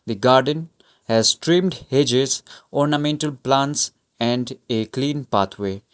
the garden has trimmed hedges ornamental plants and a clean pathway.